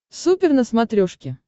супер на смотрешке